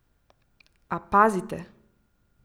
A pazite!